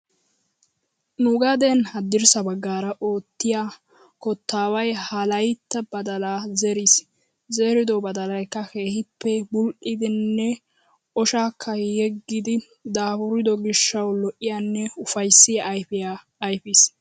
Nu gaden haddirssa baaggara oottiyaa kottaaway ha laytti badalaa zeriis. Zerido badalaykka keehippe bul"iiddinne oshaakka yeggiiddi daafurido gishshawu lo"iyaanne ufayssiyaa ayfiyaa ayfis.